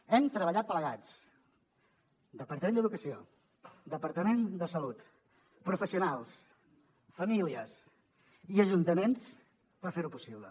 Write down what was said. hem treballat plegats departament d’educació departament de salut professionals famílies i ajuntaments per fer ho possible